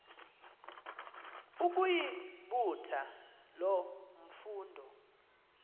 ukuyibutha loo mfundo